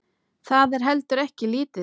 Það er heldur ekki lítið.